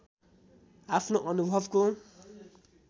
आफ्नो अनुभवको